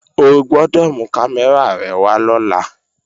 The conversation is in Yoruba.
O gbọ́dọ̀ mú kámẹ́rà rẹ wá lọ́la!